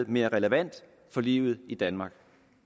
mere relevant for livet i danmark